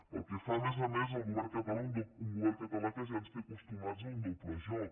pel que fa a més a més al govern català un govern català que ja ens té acostumats a un doble joc